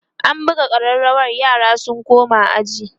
an buga ƙararawa yara su koma aji